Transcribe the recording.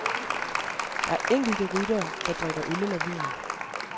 Der er enkelte ryttere, der drikker øl eller vin.